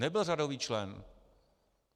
Nebyl řadový člen.